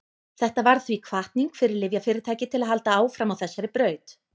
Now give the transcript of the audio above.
þetta varð því hvatning fyrir lyfjafyrirtæki til að halda áfram á þessari braut